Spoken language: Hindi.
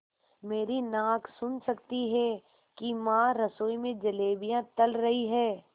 मेरी नाक सुन सकती है कि माँ रसोई में जलेबियाँ तल रही हैं